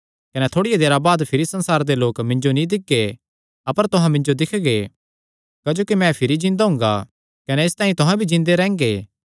कने थोड़िया देरा बाद भिरी संसारे दे लोक मिन्जो नीं दिक्खगे अपर तुहां मिन्जो दिक्खगे क्जोकि मैं भिरी जिन्दा हुंगा कने इसतांई तुहां भी जिन्दे रैंह्गे